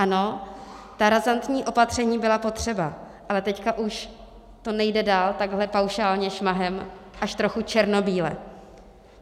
Ano, ta razantní opatření byla potřeba, ale teď už to nejde dál takhle paušálně, šmahem, až trochu černobíle.